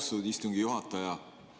Austatud istungi juhataja!